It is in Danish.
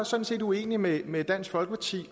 sådan set uenig med med dansk folkeparti